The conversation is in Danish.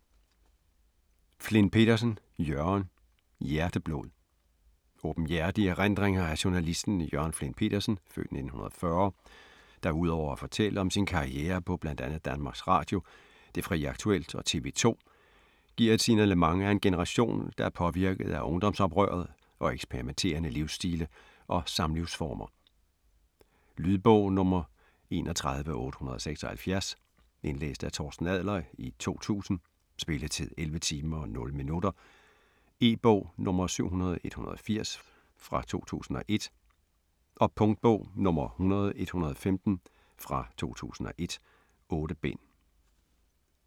Flindt Pedersen, Jørgen: Hjerteblod Åbenhjertige erindringer af journalisten Jørgen Flindt Pedersen (f. 1940), der udover at fortælle om sin karriere på bl.a. DR, Det Fri Aktuelt og TV2, giver et signalement af en generation, der er påvirket af ungdomsoprøret og eksperimenterende livsstile og samlivsformer. Lydbog 31876 Indlæst af Torsten Adler, 2000. Spilletid: 11 timer, 0 minutter. E-bog 700180 2001. Punktbog 100115 2001. 8 bind.